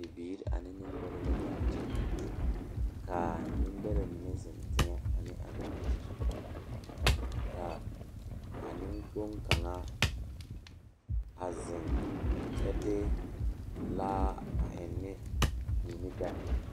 Bibiiri ane nembɛrɛ la be a kyɛ k,a nembɛrɛ mine zeŋ teŋɛ ane a bibiiri ka a nenkpoŋ kaŋa a zeŋ kyɛ de laa a eŋne mui ne bɛŋ.